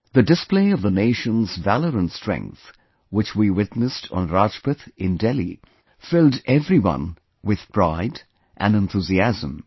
The display of the nation's valour and strength, which we witnessed on Rajpath in Delhi filled everyone with pride and enthusiasm